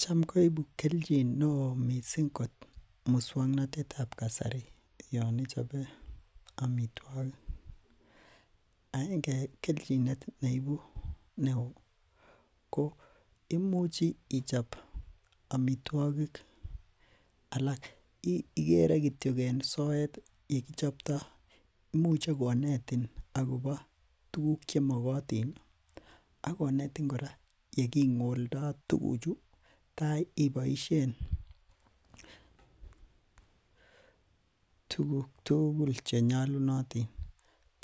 Cham koibu kelchin neo moswoknatetab kasari yon ichobe amitwogik aenge en kelchinet ne ibu neo ko Imuch ichob amitwogik alak igere kityok en soet Ole kichopto imuche ko Eton akobo tuguk Che mokotin ii ak konetin kora ye kingoldo tuguchu tai iboisien tuguk tugul Che nyolunotin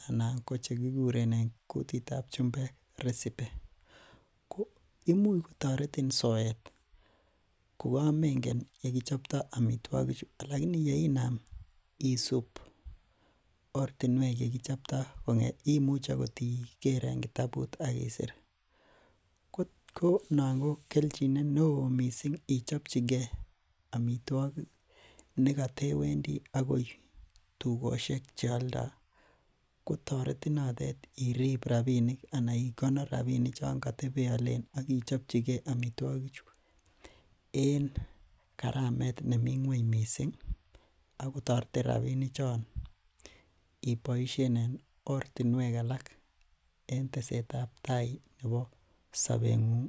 anan ko kikuren kutitab chumbek resipe Imuch kotoretin soet kokamengen Ole kichopto amitwogichu lakini yeinam ortinwek ye kichopto imuche okot iger en kitabut ak isir noton ko kelchinet neo mising ichopchige amitwogik nekote wendi agoi tugosiek Che aldoi kotoretin noton irib rabinik anan irib rabinik choton kotebe alen ak ichob chigei amitwogichu en karamet ne mi ngwony mising ak ko toretin rabisiechon iboisien en ortinwek alak chebo bandaptai nebo sobengung